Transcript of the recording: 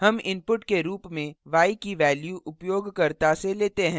हम input के रूप में y की value उपयोगकर्ता से लेते हैं